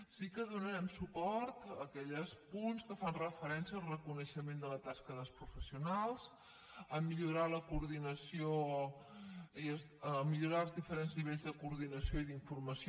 sí que donarem suport a aquells punts que fan referèn·cia al reconeixement de la tasca dels professionals a millorar la coordinació a millorar els diferents nivells de coordinació i d’informació